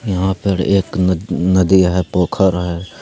यहाँ पर एक नद नदी है पोखर है।